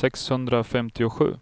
sexhundrafemtiosju